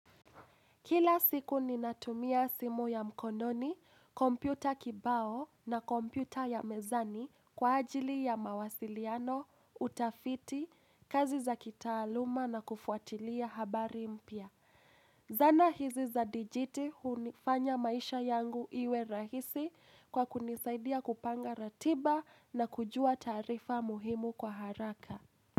Kila siku ninatumia simu ya mkononi, kompyuta kibao na kompyuta ya mezani kwa ajili ya mawasiliano, utafiti, kazi za kitaaluma na kufuatilia habari mpya. Zana hizi za dijiti hunifanya maisha yangu iwe rahisi kwa kunisaidia kupanga ratiba na kujua taarifa muhimu kwa haraka.